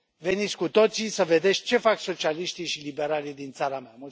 Veniți cu toții să vedeți ce fac socialiștii și liberalii din țara mea!